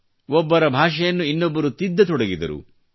ಒಬ್ಬರ ಭಾಷೆಯನ್ನು ಇನ್ನೊಬ್ಬರು ತಿದ್ದತೊಡಗಿದರು